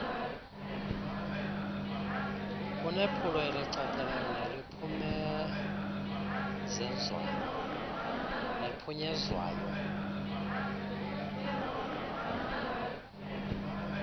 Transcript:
kunephulo elicacileyo neliphumenzezwayo